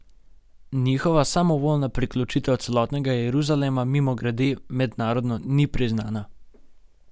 Njihova samovoljna priključitev celotnega Jeruzalema, mimogrede, mednarodno ni priznana.